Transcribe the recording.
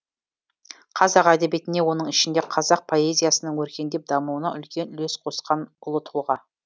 қазақ әдебиетіне оның ішінде қазақ поэзиясының өркендеп дамуына үлкен үлес қосқан ұлы тұлға